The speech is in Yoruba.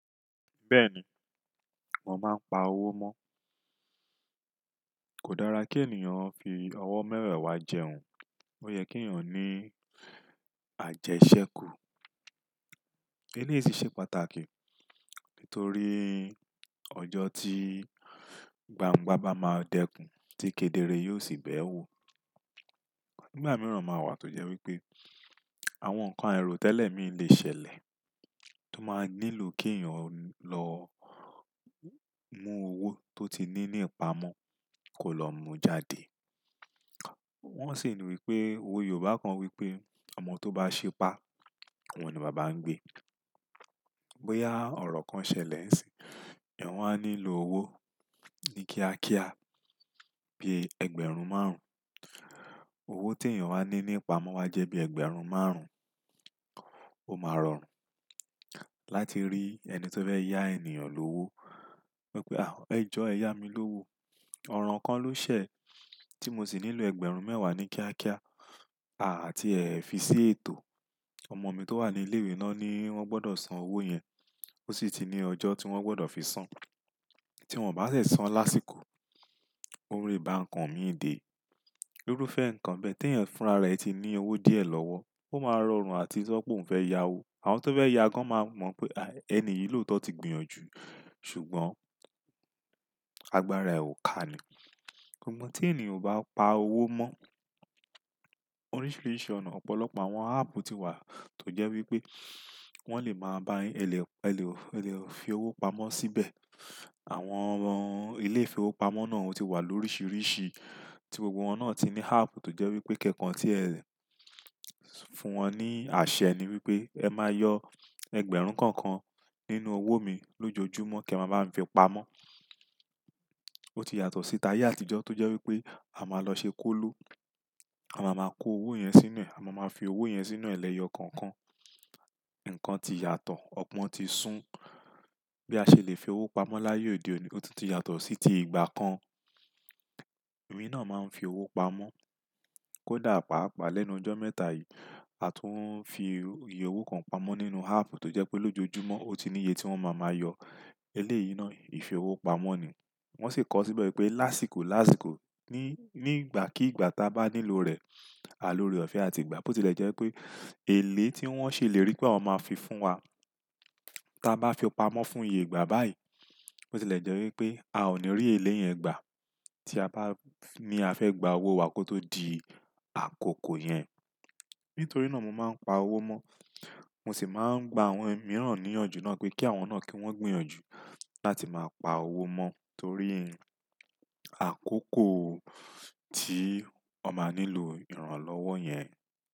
Bẹ́ẹ̀ ni, mo máa ń pa owó mọ́. Kò dára kí ènìyàn fi ọwọ́ mẹ́wewá jẹun. Ó yẹ kí ènìyàn ní àjẹṣẹ́kù. Eléyìí sì ṣe pàtàkì, nítorí ọjọ́ tí gbangba bá máa dẹ́kun, tí kedere yóò sì bẹ́ẹ̀ wò. Ìgbà mìíràn máa wà tó jẹ́ wípé àwọn nǹkan airo tẹ́lẹ̀ mi lè ṣẹlẹ̀, tó máa nílò kí ènìyàn lọ mú owó tó ti ní ìpamọ́ kó lọ mú jáde. Wọn sì ní wípé, owe Yorùbá kan wípé, ọmọ tó bá ṣipá, òun ni baba ń gbé. Bóyá ọ̀rọ̀ kan ṣẹlẹ̀ ńṣì, wọ̀n wa nílò owó ní kíákíá bí i ẹgbẹ̀rún márùn Owó tí ènìyàn wání ní ìpamọ́ wá jẹ́ bí i ẹgbẹ̀rún márùn, ó máa rọrùn láti rí ẹni tó fẹ́ yá ènìyàn lówó. Wípé, ẹ jọ ẹ yá mi lówó. Ọ̀rọ̀ kan ló ṣẹ, tí mo sì nílò ẹgbẹ̀rún mẹ́wàá ní kíákíá. Àti ẹ fi sí ètò. Ọmọ mi tó wà ní ilé-ìwé, wọ́n ni ogbọdọ̀ san owó yẹn. Ó sì ti ní ọjọ́ tí wọ́n gbọdọ̀ fi san. Tí wọ́n bá ṣe san lásìkò, ole báńkan mi dè. Irúfẹ́ ǹkan bẹ́ẹ̀, tí ènìyàn fúnra rẹ̀ ti ní owó díẹ̀ lọ́wọ́, ó máa rọrùn àti sọ pé òun fẹ́ yá owó. Àwọn tó fẹ́ yá gan máa mọ̀ pé, ẹni yìí lóòótọ́ ti gbìyànjú ṣùgbọ́n agbára ẹ̀ ò ká ni. Amo tí ènìyàn bá pa owó mọ́, oríṣiríṣi ọ̀nà, ọ̀pọ̀lọpọ̀ àwọn áàpu ti wà, tó jẹ́ wípé wọ́n lè máa bá yín ẹ lè fi owó pamọ́ síbẹ̀. Àwọn ilé ìfowópamọ́ náà ti wà lọ́rìṣìírìṣìí, tí gbogbo wọn náà ti ní áàpù tó jẹ́ wípé kẹ́kan tí ẹ fún wọn ní àṣẹ ni wípé ẹ máa yọ ẹgbẹ̀rún kokan nínú owó mi lójoojúmọ́ kí e máa bami fi pamọ́. Ó ti yàtọ̀ sí ti ayé àtijọ́ tó jẹ́ wípé, a máa lọ ṣe kólo, a máa ma kó owó yẹn sínú ẹ̀, a máa ma fi owó yẹn sínú ẹ̀ lẹ́yọ̀ kokan Ǹkan ti yàtọ̀, ọ̀pọ̀ ti sún. Bí a ṣe lè fi owó pamọ́ láyé òde òní, ó tún ti yàtọ̀ sí ti ìgbà kan. Èmi náà máa ń fi owó pamọ́, kódà paapaa lẹ́nu ọjọ́ mẹ́ta yìí, a tún ń fi iye owó kan pamọ́ nínú áàpù tó jẹ́ pé lójoojúmọ́ ó ti ní iye tí wọ́n máa yọ. Eléyìí náà ìfowópamọ́ ni. Wọ́n sì kọ ọ́ síbẹ̀ wípé lásìkò, ní ìgbà kí ìgbà ta bá nílò rẹ̀, àlòre ọ̀fẹ́ àti ìgbà. Ó ti jẹ́ wípé èlé tí wọ́n ṣèlérí pé wọ́n máa fi fún wa, ta a bá fi ò pamọ́ fún iye ìgbà báyìí, ó ti lè jẹ́ wípé a ò ní rí èlé yẹn gbà tí a bá ní a fẹ́ gba owó wa kó tó di àkókò yẹn. Nítorí náà mo máa ń pa owó mọ́, mo sì máa ń gba àwọn mìíràn níyànjú náà pé kí àwọn náà, kí wọ́n gbìyànjú láti máa pa owó mọ́, torí àkókò tí won máa nílò ìrànlọ́wọ́ yẹn.